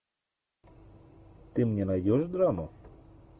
ты мне найдешь драму